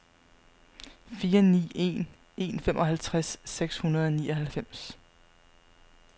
fire ni en en femoghalvtreds seks hundrede og nioghalvfems